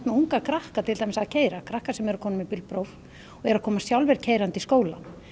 unga krakka að keyra krakka sem eru komnir með bílpróf og eru að koma sjálfir keyrandi í skólann